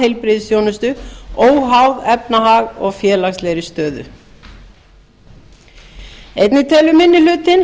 heilbrigðisþjónustu óháð efnahag og félagslegri stöðu einnig telur minni